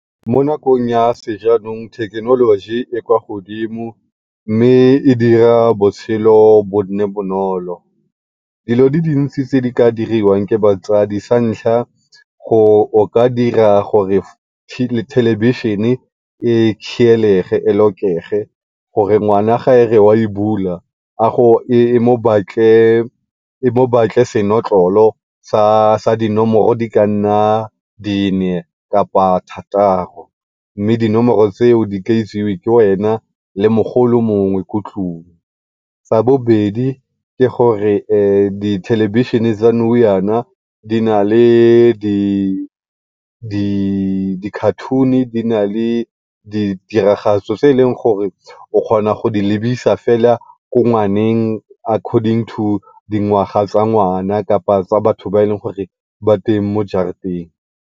Mo nakong ya sejanong thekenoloji e kwa godimo, mme e dira botshelo bo nne bonolo. Dilo di dintsi tse di ka diriwang ke batsadi, sa ntlha o ka dira gore thelebishene e khielege, e lock-ege gore ngwana ga a re wa e bula e mo batle e mo batle senotlolo sa dinomoro di ka nna nne kapa thataro. Mme dinomoro tseo di ka itsewe ke wena le mogolo mongwe ko tlung. Sa bobedi ke gore dithelebishene tsa di na le di cartoon-i, di na le ditiragatso tse e leng gore o kgona go di lebisa fela ko ngwaneng according to dingwaga tsa ngwana kapa batho ba e leng gore ba teng mo jarateng.